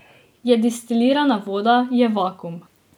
Je destilirana voda, je vakuum.